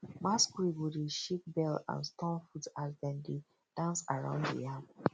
masquerade go dey shake bell and stomp foot as dem dey dance around the yam